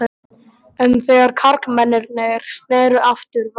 En þegar karlmennirnir sneru aftur var